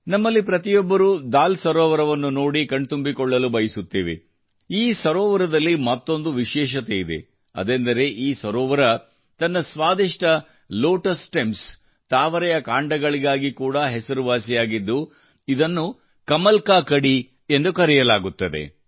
ನಮ್ಮಲ್ಲಿ ಪ್ರತಿಯೊಬ್ಬರೂ ದಾಲ್ ಸರೋವರವನ್ನು ನೋಡಿ ಕಣ್ತುಂಬಿಕೊಳ್ಳಲು ಬಯಸುತ್ತೇವೆ ಈ ಸರೋವರದಲ್ಲಿ ಮತ್ತೊಂದು ವಿಶೇಷತೆಯಿದೆ ಅದೆಂದರೆ ಈ ಸರೋವರವು ತನ್ನ ಸ್ವಾದಿಷ್ಟ ಲೋಟಸ್ ಸ್ಸ್ಟೆಮ್ಸ್ ತಾವರೆಯ ಕಾಂಡಗಳಿಗಾಗಿ ಕೂಡಾ ಹೆಸರುವಾಸಿಯಾಗಿದ್ದು ಇದನ್ನು ಕಮಲ್ಕಕಡಿ ಎಂದು ಕರೆಯಲಾಗುತ್ತದೆ